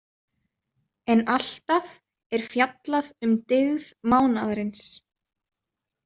En alltaf er fjallað um dygð mánaðarins.